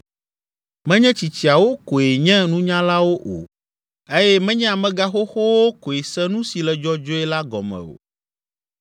Menye tsitsiawo koe nye nunyalawo o eye menye amegãxoxowo koe se nu si le dzɔdzɔe la gɔme o.